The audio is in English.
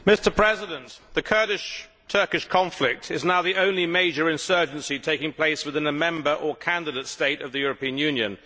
Mr President, the Kurdish Turkish conflict is now the only major insurgency taking place within a member or candidate state of the European Union.